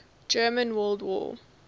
german world war